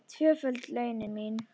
Tvöföld launin mín.